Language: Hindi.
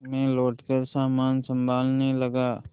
मैं लौटकर सामान सँभालने लगा